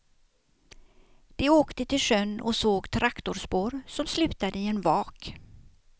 De åkte till sjön och såg traktorspår som slutade i en vak.